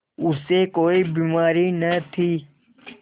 उसे कोई बीमारी न थी